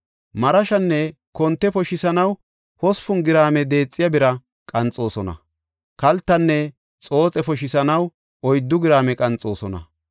Marashanne konte poshisanaw hospun giraame deexiya bira qanxoosona; kaltanne xooxe poshisanaw oyddu giraame qanxoosona.